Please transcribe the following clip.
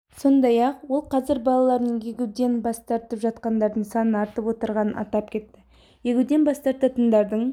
сондай-ақ ол қазір балаларын егуден бас тартып жатқандардың саны артып отырғанын атап кетті егуден бас тартантындардың